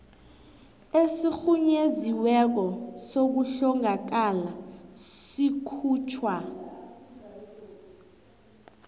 esirhunyeziweko sokuhlongakala sikhutjhwa